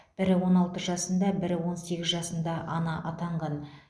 бірі он алты жасында бірі он сегіз жасында ана атанған